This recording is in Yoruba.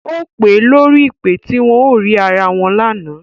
Ó pe lórí ìpè tí wọn ò rí ara wọn lánàá